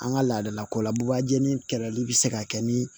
An ka laadalako la bubajali kɛlɛli bɛ se ka kɛ ni